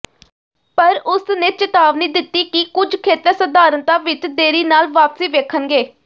ਪਰ ਉਸਨੇ ਚੇਤਾਵਨੀ ਦਿੱਤੀ ਕਿ ਕੁਝ ਖੇਤਰ ਸਧਾਰਣਤਾ ਵਿੱਚ ਦੇਰੀ ਨਾਲ ਵਾਪਸੀ ਵੇਖਣਗੇ